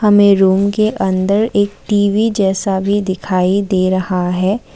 हमें रूम के अंदर एक टी_वी जैसा दिखाई दे रहा है।